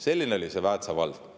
Selline oli see Väätsa vald.